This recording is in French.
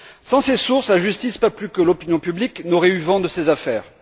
Sans ces sources, la justice, pas plus que l'opinion publique, n'aurait eu vent de ces affaires.